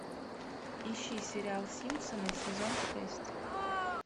ищи сериал симпсоны сезон шесть